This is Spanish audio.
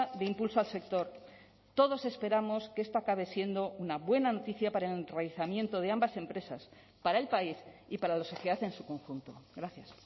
de impulso al sector todos esperamos que esto acabe siendo una buena noticia para el enraizamiento de ambas empresas para el país y para la sociedad en su conjunto gracias